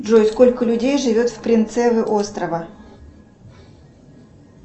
джой сколько людей живет в принцеве острова